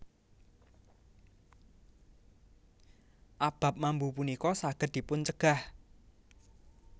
Abab mambu punika saged dipuncegah